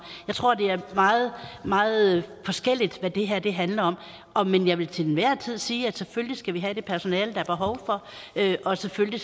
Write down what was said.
jeg tror det er meget meget forskelligt hvad det her handler om men jeg vil til enhver tid sige at vi selvfølgelig skal have det personale der er behov for og selvfølgelig